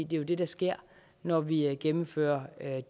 det er jo det der sker når vi gennemfører